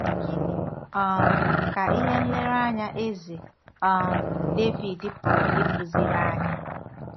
Gịnị um ka ihe nlereanya Eze um Devid pụrụ ịkụziri anyị?